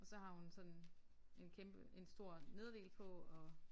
Og så har hun sådan en kæmpe en stor nederdel på og